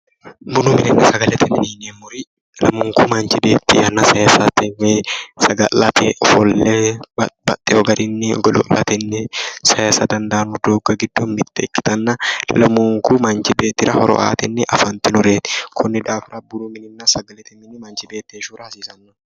bununna sagalete mine yineemmori lamunku manchi beetti yanna sayiisate woyi saga'late ofolle babbaxewo garinni godo'latenni sayiisa dandaanno doogga giddo mitte ikkitanna lamunku manchi beettira horo aate afantinoreeti kuni xa bununnasagalete mini manchi beettira hasiisannoreeti.